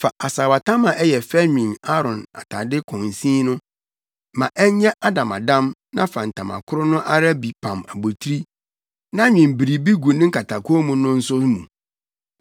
“Fa asaawatam a ɛyɛ fɛ nwen Aaron atade kɔnsin no. Ma ɛnyɛ adamadam na fa ntama koro no ara bi pam abotiri na nwen biribi gu ne nkatakɔnmu no nso mu.